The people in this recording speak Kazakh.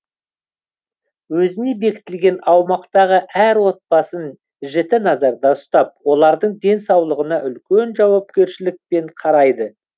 өзіне бекітілген аумақтағы әр отбасын жіті назарда ұстап олардың денсаулығына үлкен жауапкершілікпен қарайды